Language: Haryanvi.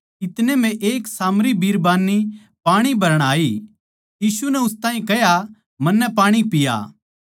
इतनै म्ह एक सामरी बिरबान्नी पाणी भरण आई यीशु नै उस ताहीं कह्या मन्नै पाणी पिया